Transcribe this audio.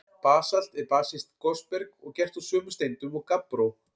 Basalt er basískt gosberg og gert úr sömu steindum og gabbró.